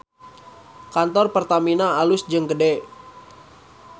Kantor Pertamina alus jeung gede